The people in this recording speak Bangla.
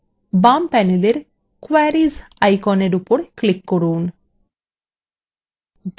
বাম panel ক্যোয়ারীস আইকনের উপর click করুন